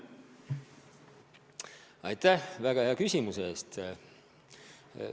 Aitäh väga hea küsimuse eest!